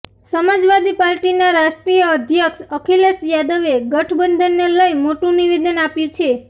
સમાજવાદી પાર્ટીના રાષ્ટ્રીય અધ્યક્ષ અખિલેશ યાદવે ગઠબંધનને લઇ મોટું નિવેદન આપ્યું છે